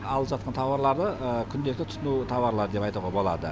алып жатқан тауарлары күнделікті тұтыну тауарлары деп айтуға болады